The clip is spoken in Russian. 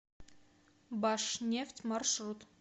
башнефть маршрут